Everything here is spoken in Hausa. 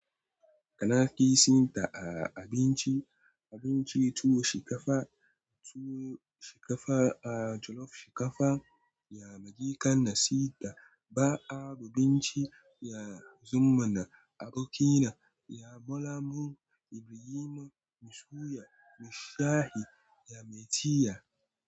Kana kisinta a abinci, abinci tuwo shinkafa, tuwo shinkafa a jollof shinkafa, yi kan na sinna, ba'a abinci yanzun mana abokinna, ya bolangu, ya minna, min suya, min shayi, ya msi cinya.